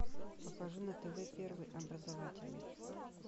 покажи на тв первый образовательный